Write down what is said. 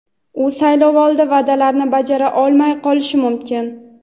u saylovoldi va’dalarini bajara olmay qolishi mumkin.